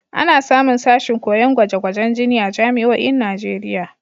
Ana samun sashin koyon gwaje-gwajen jini a jami'oin Najeriya.